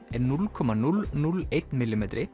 er núll komma núll núll einn